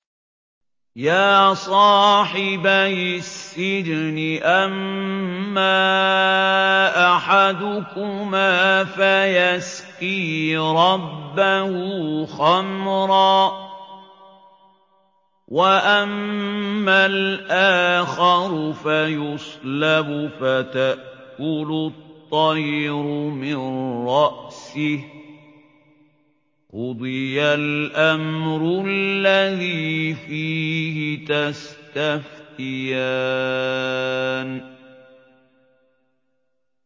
يَا صَاحِبَيِ السِّجْنِ أَمَّا أَحَدُكُمَا فَيَسْقِي رَبَّهُ خَمْرًا ۖ وَأَمَّا الْآخَرُ فَيُصْلَبُ فَتَأْكُلُ الطَّيْرُ مِن رَّأْسِهِ ۚ قُضِيَ الْأَمْرُ الَّذِي فِيهِ تَسْتَفْتِيَانِ